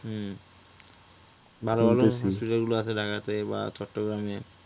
হুম ভালো ভালো hospital গুলা আছে ঢাকাতে বা চট্টগ্রামে